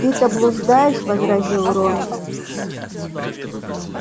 ты-то блуждаешь возразил рон